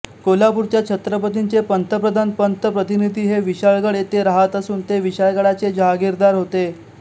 कोल्हापूरच्या छत्रपतींचे पंतप्रधान पंत प्रतिनिधी हे विशाळगड येथे राहत असून ते विशाळगडाचे जहागीरदार होते